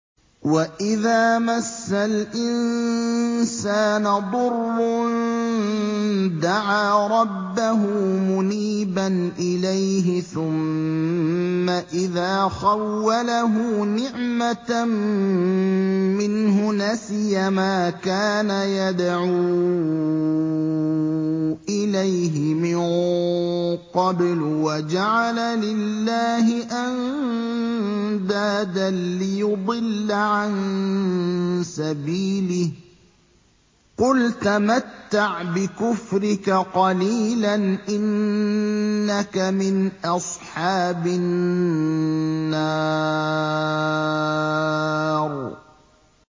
۞ وَإِذَا مَسَّ الْإِنسَانَ ضُرٌّ دَعَا رَبَّهُ مُنِيبًا إِلَيْهِ ثُمَّ إِذَا خَوَّلَهُ نِعْمَةً مِّنْهُ نَسِيَ مَا كَانَ يَدْعُو إِلَيْهِ مِن قَبْلُ وَجَعَلَ لِلَّهِ أَندَادًا لِّيُضِلَّ عَن سَبِيلِهِ ۚ قُلْ تَمَتَّعْ بِكُفْرِكَ قَلِيلًا ۖ إِنَّكَ مِنْ أَصْحَابِ النَّارِ